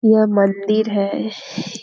यह मंदिर है।